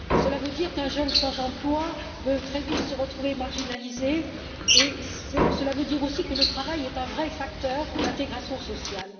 Cela veut dire qu'un jeune sans emploi peut très vite se retrouver marginalisé et, aussi, que le travail est un vrai facteur d'intégration sociale.